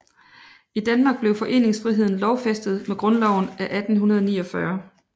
I Danmark blev foreningsfriheden lovfæstet med Grundloven af 1849